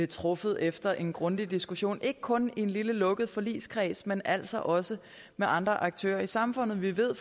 truffet efter en grundig diskussion ikke kun i en lille lukket forligskreds men altså også med andre aktører i samfundet vi ved